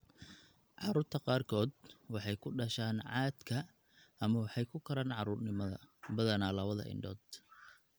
Carruurta qaarkood waxay ku dhashaan caadka ama waxay ku koraan carruurnimada, badanaa labada indhood.